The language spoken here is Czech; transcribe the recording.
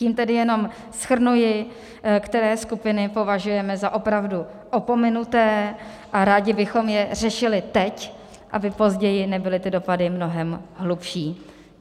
Tím tedy jenom shrnuji, které skupiny považujeme za opravdu opomenuté, a rádi bychom je řešili teď, aby později nebyly ty dopady mnohem hlubší.